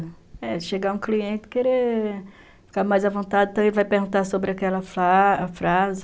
É, chegar um cliente, querer ficar mais à vontade, também vai perguntar sobre aquela frase.